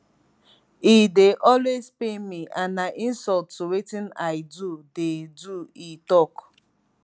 e dey always pain me and na insult to wetin i do dey do e tok